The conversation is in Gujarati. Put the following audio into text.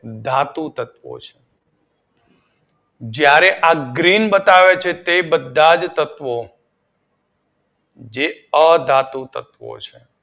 ધાતું તત્વો છે. જ્યારે આ ગ્રીન બતાવે છે તે બધા જ તત્વો જે અધાતુ તત્વો છે.